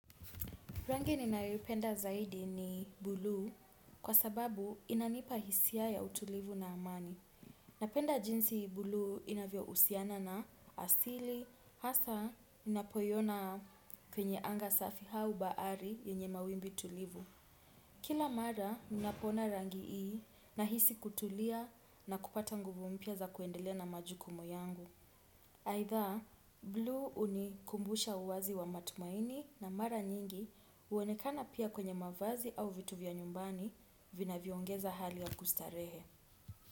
Rangi ninayoipenda zaidi ni buluu, kwa sababu inanipa hisia ya utulivu na amani. Napenda jinsi buluu inavyohusiana na asili hasa unapoiona kwenye anga safi au bahari yenye mawimbi tulivu. Kila mara ninapoona rangi hii nahisi kutulia, na kupata nguvu mpya za kuendelea na majukumu yangu. Aidha, buliu unikumbusha uwazi wa matumaini na mara nyingi uonekana pia kwenye mavazi au vitu vya nyumbani vinavyo ongeza hali ya kustarehe.